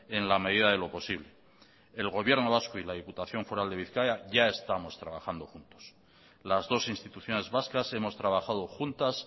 en la medida de lo posible el gobierno vasco y la diputación foral de bizkaia ya estamos trabajando juntos las dos instituciones vascas hemos trabajado juntas